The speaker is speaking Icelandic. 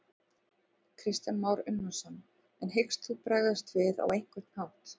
Kristján Már Unnarsson: En hyggst þú bregðast við á einhvern hátt?